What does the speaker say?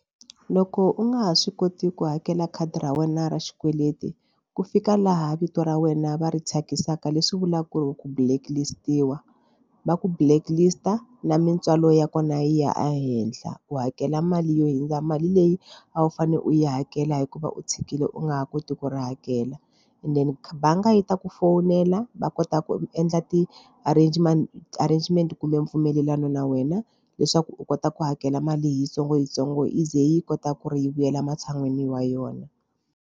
Loko u nga ha swi koti ku hakela khadi ra wena ra xikweleti ku fika laha vito ra wena va ri thyakisaka leswi vulaka ku ri ku blacklist-iwa va ku blacklist na mintswalo ya kona yi ya ehenhla u hakela mali yo hundza mali leyi a wu fanele u yi hakela hikuva u tshikile u nga ha koti ku ri hakela and then bangi yi ta ku fowunela va kota ku endla ti-arrangement ti-arrangement kumbe mpfumelelano na wena leswaku u kota ku hakela mali hi yitsongoyitsongo yi ze yi kota ku ri yi vuyela matshan'wini wa yona.